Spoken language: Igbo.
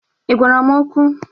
Ị gwara m okwu?